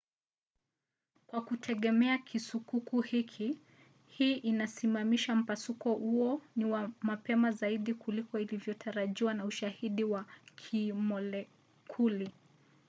"kwa kutegemea kisukuku hiki hii inamaanisha mpasuko huo ni wa mapema zaidi kuliko ilivyotarajiwa na ushahidi wa kimolekuli